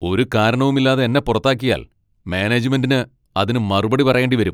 ഒരു കാരണവുമില്ലാതെ എന്നെ പുറത്താക്കിയാൽ മാനേജ്മെൻ്റിന് അതിന് മറുപടി പറയേണ്ടി വരും.